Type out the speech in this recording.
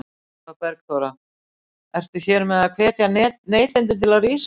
Eva Bergþóra: Ertu hér með að hvetja neytendur til að rísa upp?